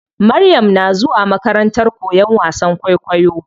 Maryam na zuwa makarantar koyan wasan kwaikwayo.